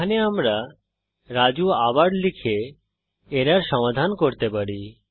এখানে আমরা রাজু আবার লিখে এরর সমাধান করতে পারি